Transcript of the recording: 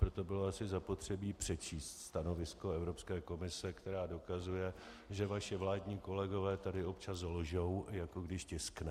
Proto bylo asi zapotřebí přečíst stanovisko Evropské komise, která dokazuje, že vaši vládní kolegové tady občas lžou, jako když tiskne.